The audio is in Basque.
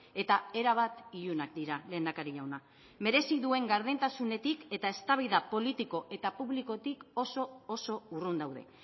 eta erabat ilunak dira lehendakari jauna merezi duen gardentasunetik eta eztabaida politiko eta publikotik oso oso urrun daude